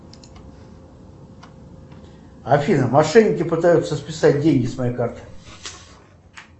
афина мошенники пытаются списать деньги с моей карты